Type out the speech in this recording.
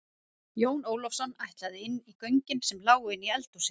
Jón Ólafsson ætlaði inn í göngin sem lágu inn í eldhúsið.